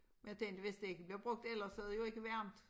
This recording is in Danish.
Men jeg tænkte hvis det ikke bliver brugt ellers så det jo ikke varmt